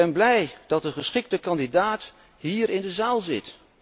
En ik ben blij dat de geschikte kandidaat hier in de zaal zit.